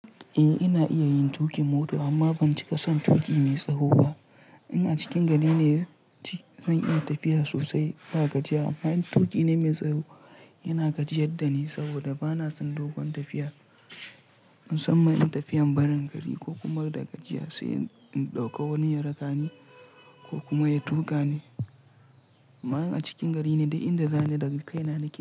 Eh ina iya yin tuƙin mota amma ban cika son tuƙi mai tsaho ba. In a cikin gari ne zan iya tafiya sosai ba gajiya amma in tuƙi na mai tsaro yana gajiyadda ni saboda bana son dogon tafiya. In san mai tafiyan barin gari ko kuma da gajiya sai in ɗauka wani ya raka ni ko kuma ya tuƙa ni. Amma in a cikin gari ne dai inda zan yi da rukai na nake.